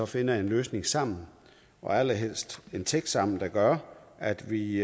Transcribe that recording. finder en løsning sammen og allerhelst en tekst sammen der gør at vi i